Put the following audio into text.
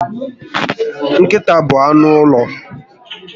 Nkịta bụ anụ ụlọ